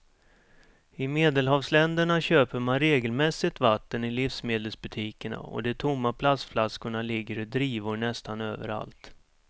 I medelhavsländerna köper man regelmässigt vatten i livsmedelsbutikerna och de tomma plastflaskorna ligger i drivor nästan överallt.